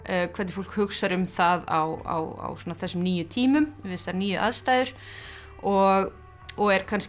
hvernig fólk hugsar um það á þessum nýju tímum við þessar nýju aðstæður og og er kannski